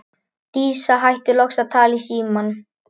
Dísa hættir loks að tala í símann.